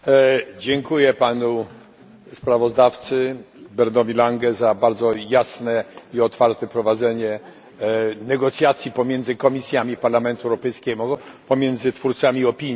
Dziękuję panu sprawozdawcy Berndowi Lange za bardzo jasne i otwarte prowadzenie negocjacji pomiędzy komisjami Parlamentu Europejskiego, pomiędzy twórcami opinii.